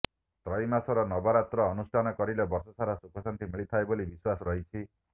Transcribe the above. ଚୈତ୍ରମାସର ନବରାତ୍ରି ଅନୁଷ୍ଠାନ କରିଲେ ବର୍ଷସାରା ସୁଖଶାନ୍ତି ମିଳିଥାଏ ବୋଲି ବିଶ୍ୱାସ ରହିଛି